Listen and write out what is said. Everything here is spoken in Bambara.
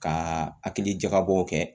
Ka hakili jakabɔw kɛ